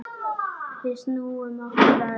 Við snúum okkur að öðru.